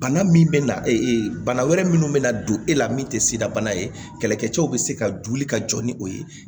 Bana min bɛ na ee bana wɛrɛ minnu bɛ na don e la min tɛ sidabana ye kɛlɛkɛcɛw bɛ se ka joli ka jɔ ni o ye